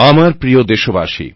আমার প্রিয় দেশবাসী